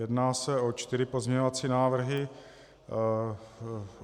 Jedná se o čtyři pozměňovací návrhy.